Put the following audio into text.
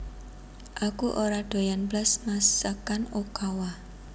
Aku ora doyan blas masakan Okawa